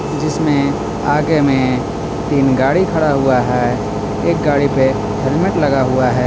जिसमें आगे में तीन गाड़ी खड़ा हुआ है एक गाड़ी पे हेलमेट लगा हुआ है.